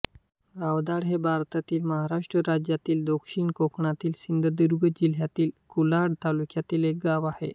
गावधाड हे भारतातील महाराष्ट्र राज्यातील दक्षिण कोकणातील सिंधुदुर्ग जिल्ह्यातील कुडाळ तालुक्यातील एक गाव आहे